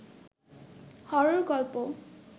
horror গল্প